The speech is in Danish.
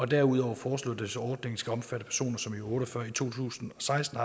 derudover foreslås ordningen skal omfatte personer som i uge otte og fyrre i to tusind og seksten